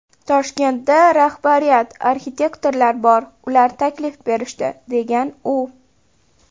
Toshkentda rahbariyat, arxitektorlar bor, ular taklif berishdi”, degan u.